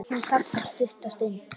Hún þagnar stutta stund.